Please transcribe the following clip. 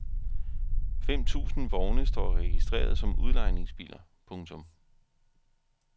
Fem tusind vogne står registreret som udlejningsbiler. punktum